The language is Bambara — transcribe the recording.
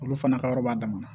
Olu fana ka yɔrɔ b'a damana